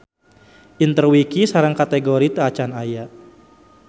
Interwiki sareng kategori teu acan aya.